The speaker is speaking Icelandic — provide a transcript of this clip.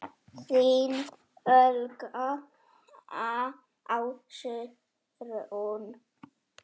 Þín Olga Ásrún.